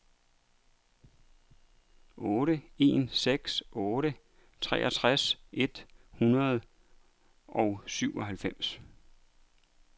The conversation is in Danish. otte en seks otte treogtres et hundrede og syvoghalvfems